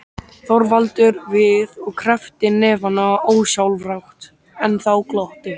Þorvaldur við og kreppti hnefana ósjálfrátt, en þá glotti